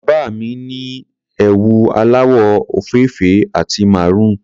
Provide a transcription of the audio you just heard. Bàbá mi ni ẹwù aláwọ̀ òfeèfé àti maroon.